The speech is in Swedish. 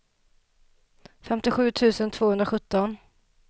femtiosju tusen tvåhundrasjutton